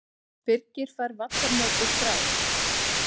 Birgir fær vallarmetið skráð